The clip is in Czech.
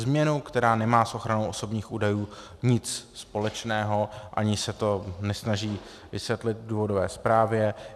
Změnu, která nemá s ochranou osobních údajů nic společného, ani se to nesnaží vysvětlit v důvodové zprávě.